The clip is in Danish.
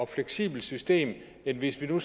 fleksibelt system end hvis vi nu